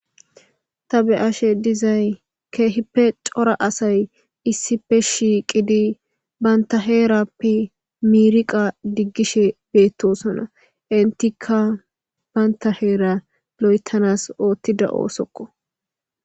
Ta Be'ashe Dizay Keehippe cora Asay Issippe Shiqidi Banta Heerappe Miriqa Digishe Betosona Entika Banta heera Loytanas Otida Osokko